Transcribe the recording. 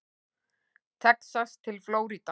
Texas til Flórída.